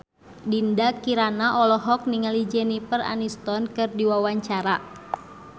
Dinda Kirana olohok ningali Jennifer Aniston keur diwawancara